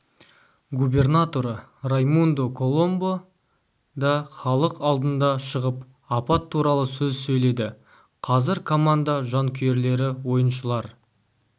губернаторы раймундо коломбо да халық алдына шығып апат туралы сөз сөйледі қазір команда жанкүйерлері ойыншылар